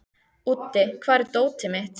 Úddi, hvar er dótið mitt?